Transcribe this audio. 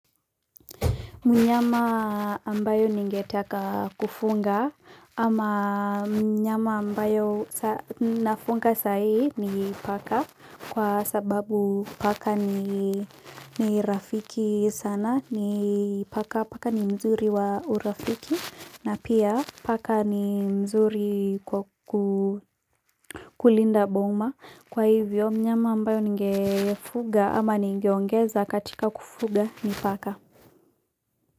Mnyama ambaye ningetaka kufunga ama mnyama ambayo nafunga sahi ni paka kwa sababu paka ni rafiki sana ni paka paka ni mzuri wa urafiki na pia paka ni mzuri kukulinda boma kwa hivyo mnyama ambayo ningefuga ama ningeongeza katika kufuga ni paka.